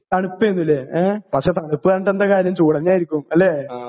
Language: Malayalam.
തണുപ്പേന്നുലേ ഏ പക്ഷെ തണുപ്പ്ന്ന് പറഞ്ഞിട്ടെന്താ കാര്യം ചൂടന്നേയിരിക്കുംലെ.